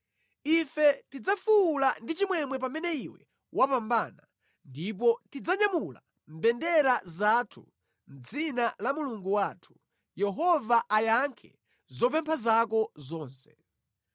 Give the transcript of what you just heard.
Ife tidzafuwula ndi chimwemwe pamene iwe wapambana ndipo tidzanyamula mbendera zathu mʼdzina la Mulungu wathu, Yehova ayankhe zopempha zako zonse.